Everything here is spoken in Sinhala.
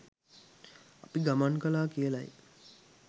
අපි ගමන් කලා කියලයි.